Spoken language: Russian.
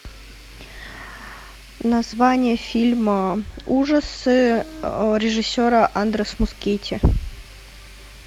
название фильма ужасы режиссера андрес мускетти